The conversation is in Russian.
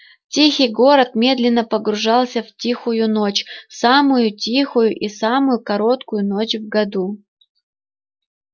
тихий город медленно погружался в тихую ночь самую тихую и самую короткую ночь в году